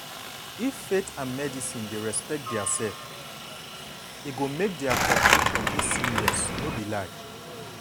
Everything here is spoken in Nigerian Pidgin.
if faith and medicine dey respect diaself e go make dia cooperation dey seamless no be lie.